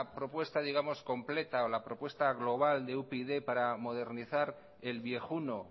propuesta completa o la propuesta global de upyd para modernizar el viejuno